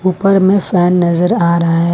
ऊपर में फैन नजर आ रहा है।